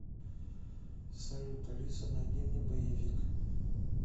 салют алиса найди мне боевик